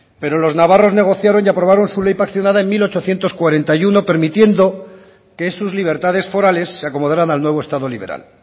pero los navarros negociaron y aprobaron su ley paccionada en mil ochocientos cuarenta y uno permitiendo que sus libertades forales se acomodaran al nuevo estado liberal